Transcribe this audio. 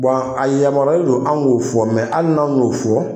Bɔn a yamaruyalen don anw k'o fɔ mɛ ali n'anw y'o fɔ